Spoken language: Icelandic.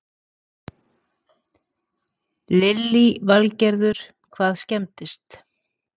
Lillý Valgerður: Hvað skemmdist?